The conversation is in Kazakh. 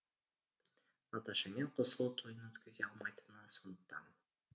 наташамен қосылу тойын өткізе алмайтыны сондықтан